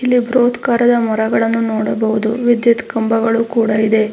ಇಲ್ಲಿ ಬಹೃತಾಕಾರದ ಮರಗಳನ್ನು ನೋಡಬಹುದು ವಿದ್ಯುತ್ ಕಂಬಗಳು ಕೂಡ ಇದೆ.